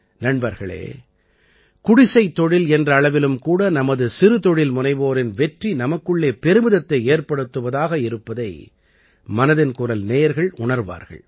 நண்பர்களே குடிசைத் தொழில் என்ற அளவிலும் கூட நமது சிறுதொழில்முனைவோரின் வெற்றி நமக்குள்ளே பெருமிதத்தை ஏற்படுத்துவதாக இருப்பதை மனதின் குரல் நேயர்கள் உண்ர்வார்கள்